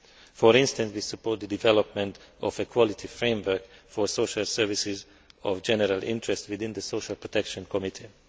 For instance, we support the development of a quality framework for social services of general interest within the Social Protection Committee.